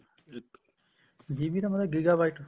GB ਦਾ ਮਤਲਬ gigabyte